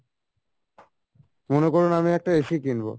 মনে করুণ আমি একটা AC কিনবো